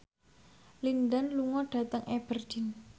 Lin Dan lunga dhateng Aberdeen